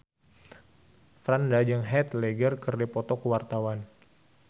Franda jeung Heath Ledger keur dipoto ku wartawan